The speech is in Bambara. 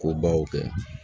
Ko baw kɛ